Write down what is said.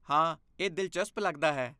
ਹਾਂ, ਇਹ ਦਿਲਚਸਪ ਲੱਗਦਾ ਹੈ!